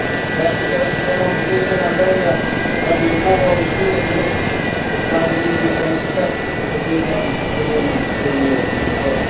The applications of Montenegro and Albania have been forwarded to the Commission and I believe we can expect its opinion within a year or so.